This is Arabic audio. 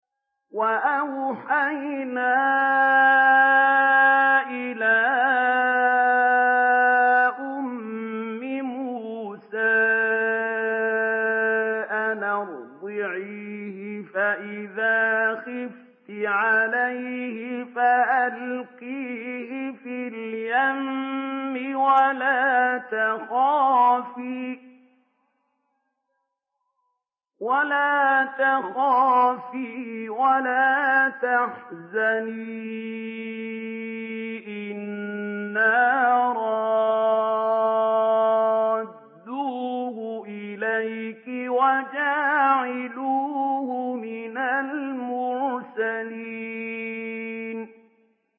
وَأَوْحَيْنَا إِلَىٰ أُمِّ مُوسَىٰ أَنْ أَرْضِعِيهِ ۖ فَإِذَا خِفْتِ عَلَيْهِ فَأَلْقِيهِ فِي الْيَمِّ وَلَا تَخَافِي وَلَا تَحْزَنِي ۖ إِنَّا رَادُّوهُ إِلَيْكِ وَجَاعِلُوهُ مِنَ الْمُرْسَلِينَ